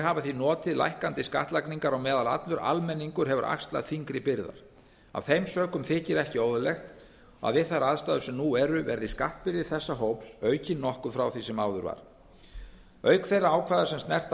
hafa því notið lækkandi skattlagningar á meðan allur almenningur hefur axlað þyngri byrðar af þeim sökum þykir ekki óeðlilegt að við þær aðstæður sem nú eru verði skattbyrði þessa hóps aukin nokkuð frá því sem áður var auk þeirra ákvæða sem snerta